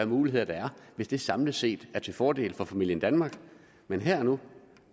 muligheder der er hvis de samlet set er til fordel for familien danmark men her og nu